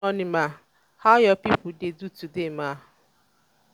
mama good evening ma. how your people dey today ma?